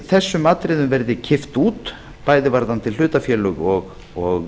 þessum atriðum verði kippt út bæði varðandi hlutafélög og